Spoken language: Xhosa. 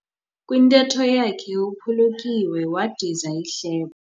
Kwintetho yakhe uphulukiwe wadiza ihlebo.